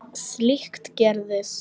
Slíkt gerist.